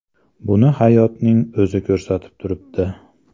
Buni hayotning o‘zi ko‘rsatib turibdi.